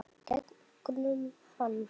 Gegnum hann.